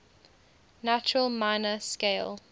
natural minor scale